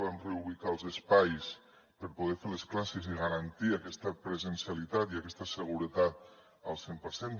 vam reubicar els espais per poder fer les classes i garantir aquesta presencialitat i aquesta seguretat al cent per cent